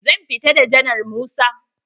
Zan fita da janar Musa.